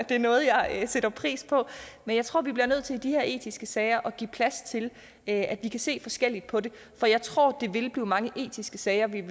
det er noget jeg sætter pris på men jeg tror vi bliver nødt til i de her etiske sager at give plads til at vi kan se forskelligt på det for jeg tror der vil komme mange etiske sager vi i